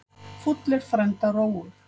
Fúll er frænda rógur.